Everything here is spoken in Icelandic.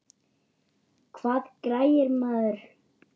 Hvað græðir maður?